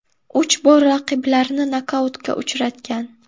Uch bor raqiblarini nokautga uchratgan.